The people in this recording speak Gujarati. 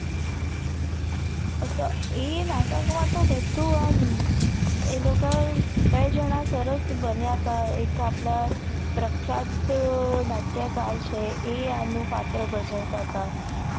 અચ્છા એ નાટક મા બદધુ એમ એ લોકા એ બે જણા સરસ બન્યા હતા એક આપદા પ્રખ્યાત નાટ્યકાર એ અનુ પત્ર ભજવતતા